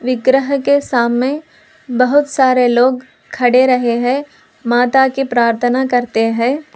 ग्रह के सामने बहुत सारे लोग खड़े रहे हैं माता के प्रार्थना करते हैं।